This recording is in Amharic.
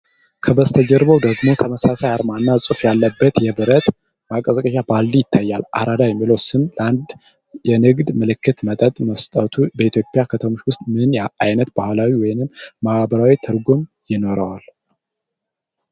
ከበስተጀርባው ደግሞ ተመሳሳይ አርማና ጽሑፍ ያለበት የብረት ማቀዝቀዣ ባልዲ ይታያል። አራዳ' የሚለው ስም ለአንድ የንግድ ምልክት መጠጥ መሰጠቱ በኢትዮጵያ ከተሞች ውስጥ ምን ዓይነት ባህላዊ ወይም ማህበራዊ ትርጉም ይኖረዋል?